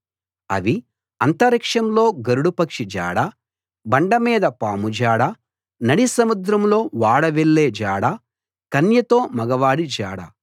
అవి అంతరిక్షంలో గరుడ పక్షి జాడ బండమీద పాము జాడ నడిసముద్రంలో ఓడ వెళ్ళే జాడ కన్యతో మగవాడి జాడ